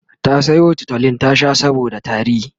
ta Sayo tutolin ta Sha saboda tari